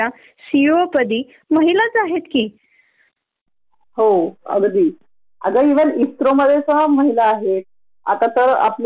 सुधा मूर्ती आहेत, इंदिरा नुई आहेत ह्या महिलच आहे न यांनी तर इन्फोसिस, पेप्सिको सारख्या मोठ्या मोठ्या कंपण्यांना लीड केल आहे